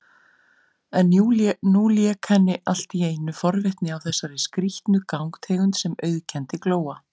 En nú lék henni alltíeinu forvitni á þessari skrýtnu gangtegund sem auðkenndi Glóa.